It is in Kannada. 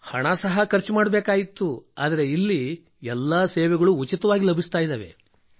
ಹಣ ಸಹ ಖರ್ಚು ಮಾಡಬೇಕಿತ್ತು ಆದರೆ ಇಲ್ಲಿ ಎಲ್ಲಾ ಸೇವೆಗಳು ಉಚಿತವಾಗಿ ಲಭಿಸುತ್ತಿವೆ